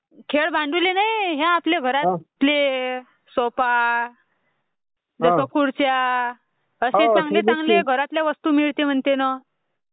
खेळ्य भाड्युल्ये नाई...हे आपले घरातले सोफा, नाहीतर खुर्च्या असे चांगले चांगले घरातेल...वस्तू मिळते म्हणते ना....